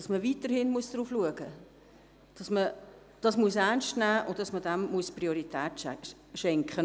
Man muss weiterhin darauf achten, es ernst nehmen und dem Thema Priorität schenken.